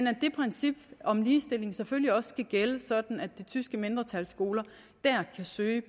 at det princip om ligestilling selvfølgelig også skal gælde sådan at det tyske mindretals skoler kan søge